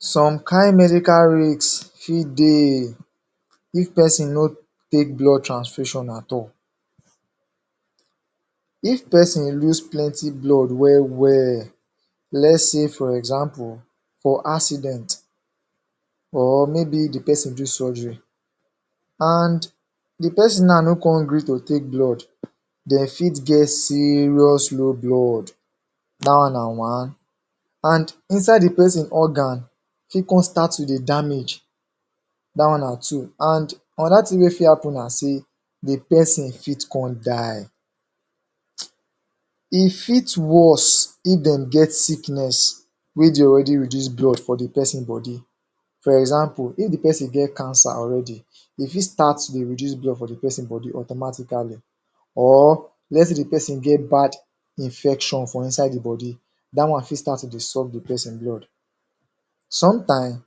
Some kain medical rates fit dey if person no take blood transfusion at all if person lose plenty blood well well let's sey for example, for accident or maybe de person do surgery and de person na no come gree to take blood dey fit get serious low blood that wan na one, and inside de person organ fit come start to dey damage that wan na two and another thing we fit happen na sey de person fit come die im fit worse if dem get sickness where dey already reduce blood for de person body for example if de person get cancer already e fit start to dey reduce blood from de person body automatically or lets sey de person get bad infection for inside d body dah wan fit start to dey suck de person blood sometime,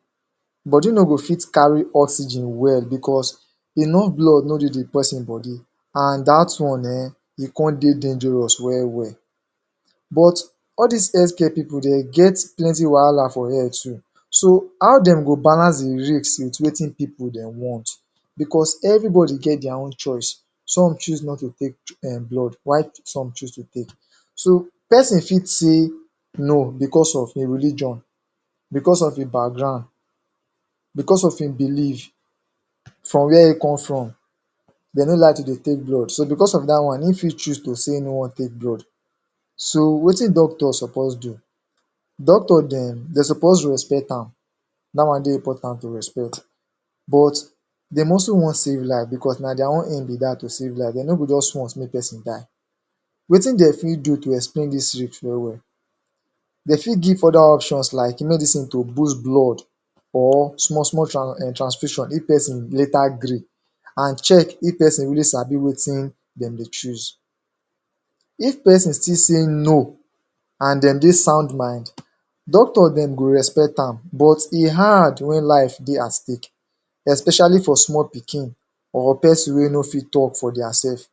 body no go fit carry oxygen well because enough blood no dey de person body and that wan um e come dey dangerous well well but all dis health care people dem get plenty wahala for head too so how dem go balance, dey relate with wetin poeple dem want because everybody get their own choice some choose not to take um blood while some choose to take so, person fit sey no, because of im religion, because of im background, because of im belief, from where im come from dem no like to de take blood, so because of that wan e if choose to sey im no wan take blood so, wetin doctor suppose do doctor dem, de suppose respect am that wan dey important to respect but, dem also wan save life because na their own aim be that to save life, dem no go just want make person die wetin dem fit do to explain dis risk well well dem fit give other options like medicine to boost blood or small small tran transcription if person later gree and check if person really sabi wetin dem dey choose if person still sey no and dem de sound mind doctor dem go respect am but e hard when life dey at stake especially for small pikin or person wey no fit talk for their self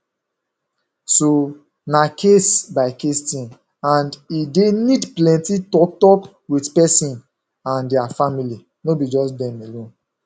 so na case by case thing and e dey need plenty talk talk with person and their familly, no be just dem alone.